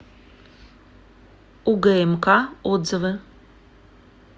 угмк отзывы